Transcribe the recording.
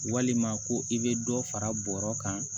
Walima ko i bɛ dɔ fara bɔrɔ kan